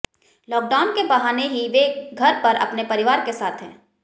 lockdown के बहाने ही वे घर पर अपने परिवार के साथ हैं